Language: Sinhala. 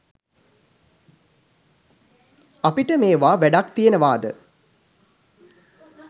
අපිට මේවා වැඩක් තියනවාද